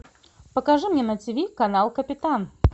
покажи мне на тиви канал капитан